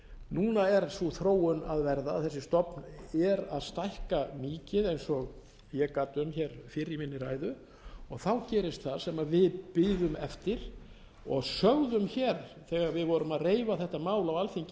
núna er sú þróun að verða að þessi stofn er að stækka mikið eins og gat um hér fyrr í minni ræðu gerist það sem við biðum eftir og sögðum hér þegar við vorum að reifa þetta mál á alþingi íslendinga